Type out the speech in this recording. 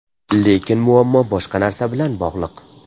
Lekin muammo boshqa narsa bilan bog‘liq.